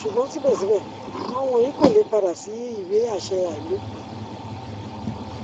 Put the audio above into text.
ṣugbọn sibẹsibẹ awọn wọnyi ko le pada si iwe aṣẹ ailopin